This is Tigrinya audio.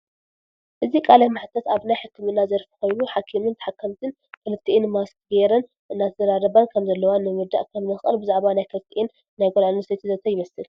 እዚ ቃለ መሕተት ኣብ ናይ ሕክምና ዘርፍ ኮይኑ ሓኪምን ተሓካምትን ክልተኢን ማስክ ገይረን እንትዛራረባ ከም ዘለዋ ንምርዳእ ከም ንክእል ብዛዕባ ናይ ክልቲኢን ናይ ጋል ኣንስተቲ ዘተ ይመስል።